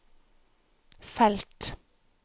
felt